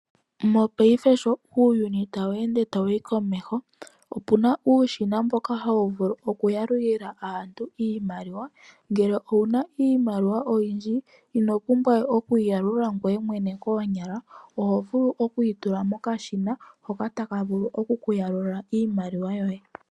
Mopayife sho uuyuni tawu ende tawuyi komeho opuna uushina mboka hawu vulu okuyalulila aantu iimaliwa, ngele owuna iimaliwa oyindji ino pumbwa we okuyi yalula ngoye mwene koonyala oho yitula mokashina hoka taka vulu oku ku yalulila iimaliwa yoye.